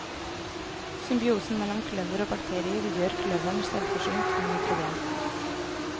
Symbiosen mellom kløver og bakterier gjør kløveren selvforsynt med nitrogen.